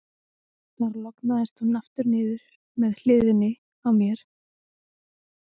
Þar lognaðist hún aftur niður með hliðinni á mér, og ég fór hjá mér.